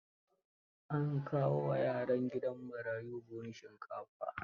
An kai wa yaran gidan marayun buhun shinkafa.